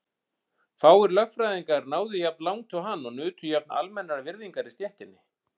Fáir lögfræðingar náðu jafn langt og hann og nutu jafn almennrar virðingar í stéttinni.